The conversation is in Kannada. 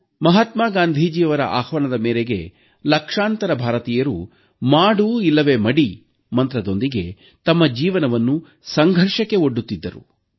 ಮಹಾತ್ಮ ಗಾಂಧೀಜಿಯವರ ಆಹ್ವಾನದ ಮೇರೆಗೆ ಲಕ್ಷಾಂತರ ಭಾರತೀಯರು ಮಾಡು ಇಲ್ಲವೆ ಮಡಿ ಮಂತ್ರದೊಂದಿಗೆ ತಮ್ಮ ಜೀವನವನ್ನು ಸಂಘರ್ಷಕ್ಕೆ ಒಡ್ಡುತ್ತಿದ್ದರು